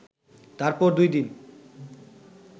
তারপর দুই দিন